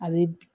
A bɛ